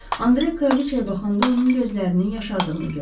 Andre Kraliçaya baxanda onun gözlərini yaşardığını gördü.